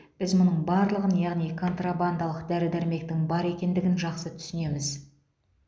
біз мұның барлығын яғни контрабандалық дәрі дәрмектің бар екендігін жақсы түсінеміз